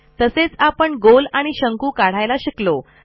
तसेच आपण गोल आणि शंकू काढायला शिकलो